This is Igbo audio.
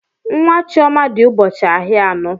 Nwa Chioma dị ụbọchị ahịa anọ.